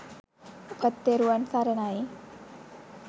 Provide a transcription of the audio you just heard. ඔබත් තෙරුවන් සරණයි !